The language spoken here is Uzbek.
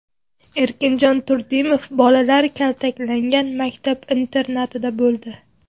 Erkinjon Turdimov bolalar kaltaklangan maktab-internatida bo‘ldi.